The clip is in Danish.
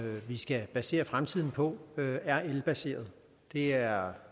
vi skal basere fremtiden på er elbaseret det er